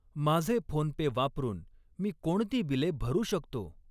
माझे फोनपे वापरून मी कोणती बिले भरू शकतो?